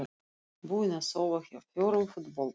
Búin að sofa hjá fjórum fótbolta